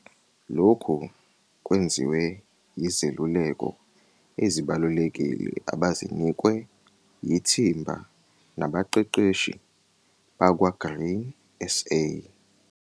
Lokhu kwenziwe yizeluleko ezibalulekile abazinikwe yithimba nabaqeqeshi bakwaGrain SA.